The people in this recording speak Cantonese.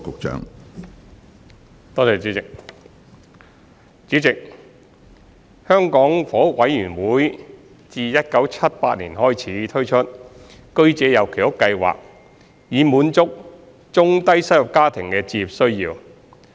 主席，香港房屋委員會自1978年開始推出居者有其屋計劃，以滿足中低收入家庭的置業需要。